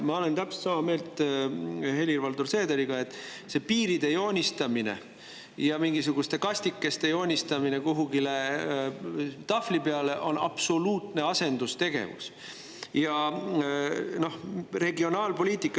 Ma olen täpselt sama meelt Helir-Valdor Seederiga, et see piiride ja mingisuguste kastikeste joonistamine kuhugi tahvli peale on absoluutne asendustegevus.